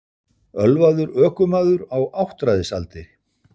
Ölvaður ökumaður á áttræðisaldri